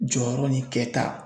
Jɔyɔrɔ nin kɛta